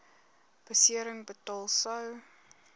besering betaal sou